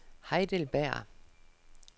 Heidelberg